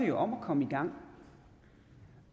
jo om at komme i gang